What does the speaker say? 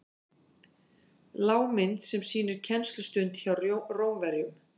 lágmynd sem sýnir kennslustund hjá rómverjum